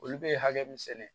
Olu bɛ hakɛ min sɛnɛ